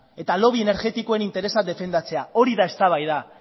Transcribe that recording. eta lobby energetikoen interesa defendatzea hori da eztabaida